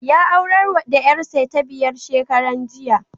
Ya aurar da ƴarsa ta biyar shekaran jiya.